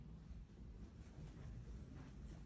Daha doğrusu, bəzi ərazidə insanlar yoxdur.